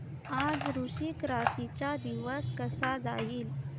आज वृश्चिक राशी चा दिवस कसा जाईल